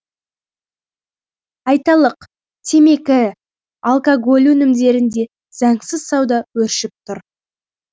айталық темекі алкоголь өнімдерінде заңсыз сауда өршіп тұр